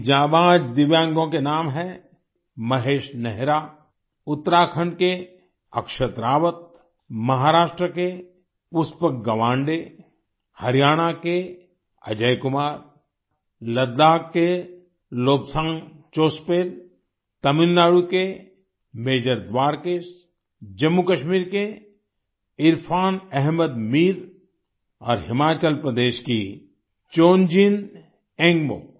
इन जांबाज दिव्यांगों के नाम है महेश नेहरा उत्तराखंड के अक्षत रावत महाराष्ट्र के पुष्पक गवांडे हरियाणा के अजय कुमार लद्दाख के लोब्सांग चोस्पेल तमिलनाडु के मेजर द्वारकेश जम्मूकश्मीर के इरफ़ान अहमद मीर और हिमाचल प्रदेश की चोन्जिन एन्गमो